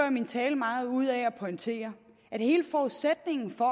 i min tale meget ud af at pointere at hele forudsætningen for